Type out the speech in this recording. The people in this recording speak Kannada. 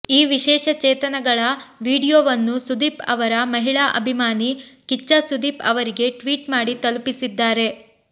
ಈ ವಿಶೇಷ ಚೇತನಳ ವೀಡಿಯೋವನ್ನು ಸುದೀಪ್ ಅವರ ಮಹಿಳಾ ಅಭಿಮಾನಿ ಕಿಚ್ಚ ಸುದೀಪ್ ಅವರಿಗೆ ಟ್ವೀಟ್ ಮಾಡಿ ತಲುಪಿಸಿದ್ದಾರೆ